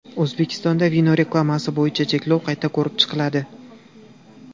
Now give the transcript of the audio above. O‘zbekistonda vino reklamasi bo‘yicha cheklov qayta ko‘rib chiqiladi.